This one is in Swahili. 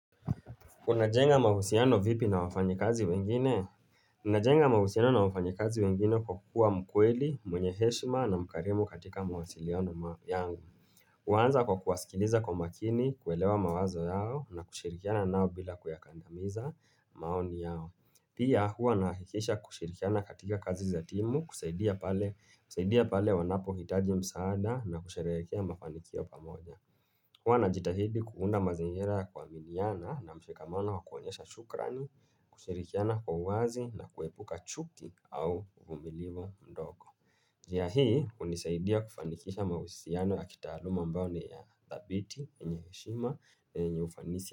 Unajenga mahusiano vipi na wafanyikazi wengine? Unajenga mahusiano na wafanyikazi wengine kwa kuwa mkweli, mwenye heshma na mkarimu katika mawasiliano yangu. Huanza kwa kuwasikiliza kwa makini, kuelewa mawazo yao na kushirikiana nao bila kuyakandamiza maoni yao. Pia hua nahikisha kushirikiana katika kazi za timu, kusaidia pale wanapo hitaji msaada na kushirehekea mafanikio pamoja. Kwa na jitahidi kuunda mazingira ya kuminiana na mshikamano wa kuonyesha shukrani, kushirikiana kwa wazi na kuepuka chuki au umilivo mdogo. Jia hii hunisaidia kufanikisha mahusiano ya kitaluma ambayo ni ya thabiti, yenye heshima, na yenye ufanisi.